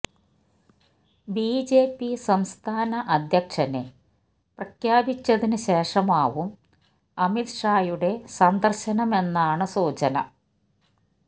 BJP സംസ്ഥാന അധ്യക്ഷനെ പ്രഖ്യാപിച്ചതിന് ശേഷമാവും അമിത് ഷായുടെ സന്ദർശനമെന്നാണ് സൂചന